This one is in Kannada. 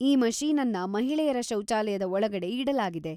ಈ ಮಷೀನನ್ನ ಮಹಿಳೆಯರ ಶೌಚಾಯಲದ ಒಳಗಡೆ ಇಡಲಾಗಿದೆ.